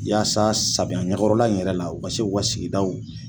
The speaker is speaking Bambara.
Yaasa samiya ɲɛkɔrɔla in yɛrɛ la, u ka se k'u ka sigida